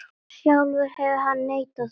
Sjálfur hefur hann neitað því.